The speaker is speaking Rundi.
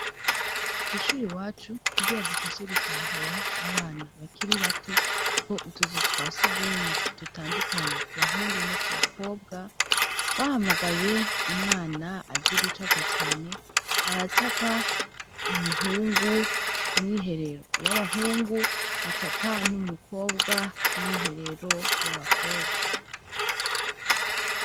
Ku ishuri wacu ubwira dufashe gutahura abana bakiri bato ko utuzu twasi ugumwe dutandukanye ku bahungu no ku bakobwa twahamagaye umwana azi gucapa Cane aracapa umuhungu ku myiherero y'abahungu acapa n'umukobwa ku myiherero y'abakobwa.